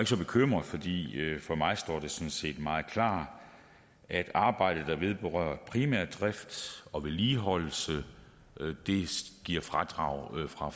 så bekymret fordi det for mig sådan set står meget klart at arbejde der vedrører primær drift og vedligeholdelse giver fradrag fra